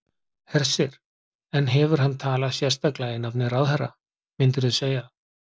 Hersir: En hefur hann talað sérstaklega í nafni ráðherra, myndirðu segja?